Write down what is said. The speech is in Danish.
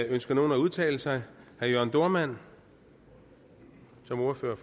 ønsker nogen at udtale sig herre jørn dohrmann som ordfører